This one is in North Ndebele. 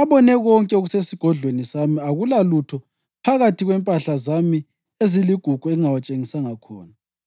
“Abone konke okusesigodlweni sami. Akulalutho phakathi kwempahla zami eziligugu engingawatshengisanga khona.”